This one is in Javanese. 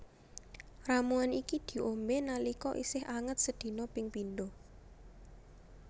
Ramuan iki diombé nalika isih anget sedina ping pindho